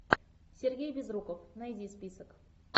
сергей безруков найди список